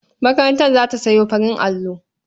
Makaranta za ta sayo farin allo.